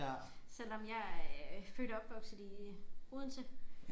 Selvom jeg er født og opvokset i Odense